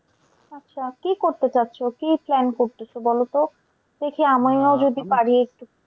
আচ্ছা কি করতে যাচ্ছো? কি plan করতেসো বলোতো, দেখি